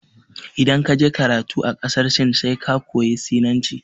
Idan ka je karatu a ƙasar Sin sai ka koya Sinanci.